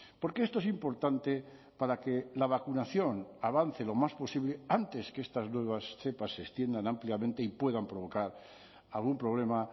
porque esto es importante para que la vacunación avance lo más posible antes que estas nuevas cepas se extiendan ampliamente y puedan provocar algún problema